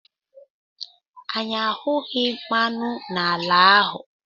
Anyị ahụghị mmanụ n'ala ahụ.